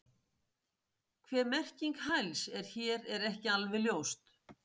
Hver merking hæls er hér er ekki alveg ljóst.